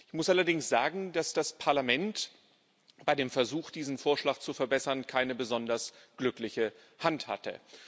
Ich muss allerdings sagen, dass das Parlament bei dem Versuch, diesen Vorschlag zu verbessern, keine besonders glückliche Hand hatte.